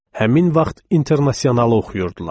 Həmin vaxt İnternasionalı oxuyurdular.